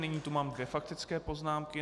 Nyní tu mám dvě faktické poznámky.